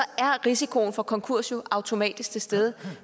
er risikoen for konkurs jo automatisk til stede